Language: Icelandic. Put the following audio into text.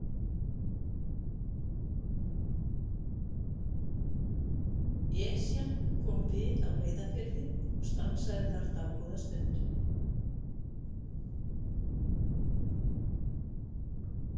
Esjan kom við á Reyðarfirði og stansaði þar dágóða stund.